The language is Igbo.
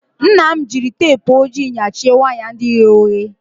Nna m jiri teepụ ojii nyachie waya ndị ghe oghe.